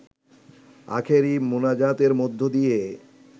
আখেরি মুনাজাতের মধ্য দিয়ে